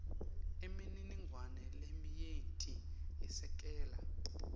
imininingwane leminyenti yesekela